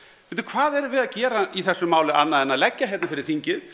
bíddu hvað erum við að gera í þessu máli annað en að leggja hér fyrir þingið